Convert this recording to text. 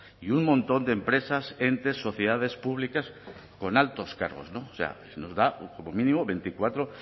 y un montón de empresas entes sociedades públicas con altos cargos o sea nos da como mínimo veinticuatro